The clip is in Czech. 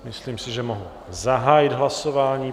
Myslím si, že mohu zahájit hlasování.